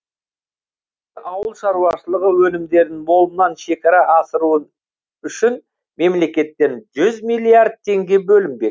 ауыл шаруашылығы өнімдерін молынан шекара асыру үшін мемлекеттен жүз миллиард теңге бөлінбек